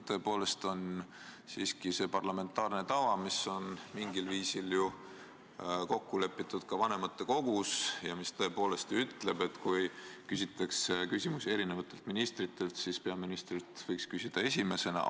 Tõepoolest on parlamentaarne tava, mis on mingil viisil kokku lepitud ka vanematekogus ja mis tõepoolest ütleb, et kui esitatakse küsimusi eri ministritele, siis peaministrilt võiks küsida esimesena.